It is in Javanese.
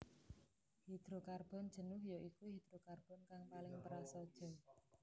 Hidrokarbon jenuh ya iku hidrokarbon kang paling prasaja